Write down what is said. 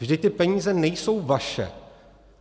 Vždyť ty peníze nejsou vaše.